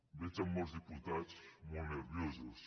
veig a molts diputats molt nerviosos